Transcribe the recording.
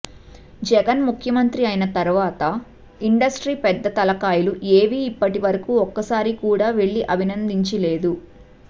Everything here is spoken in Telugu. జగన్ ముఖ్యమంత్రి అయిన తరువాత ఇండస్ట్రీ పెద్ద తలకాయలు ఏవీ ఇప్పటివరకు ఒక్కసారి కూడా వెళ్లి అభినందించింది లేదు